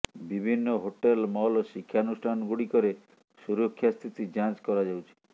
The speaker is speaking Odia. ବିଭିନ୍ନ ହୋଟେଲ ମଲ୍ ଶିକ୍ଷାନୁଷ୍ଠାନଗୁଡ଼ିକରେ ସୁରକ୍ଷା ସ୍ଥିତି ଯାଞ୍ଚ କରାଯାଉଛି